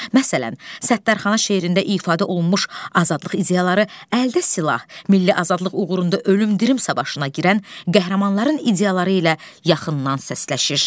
Məsələn, Səttərxana şeirində ifadə olunmuş azadlıq ideyaları əldə silah, milli azadlıq uğrunda ölüm-dirim savaşına girən qəhrəmanların ideyaları ilə yaxından səsləşir.